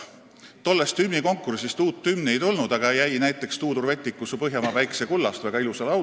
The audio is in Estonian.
Tollest hümnikonkursist uut hümni ei tulnud, aga sealt saime näiteks Tuudur Vettiku "Su Põhjamaa päikese kullast", väga ilusa laulu.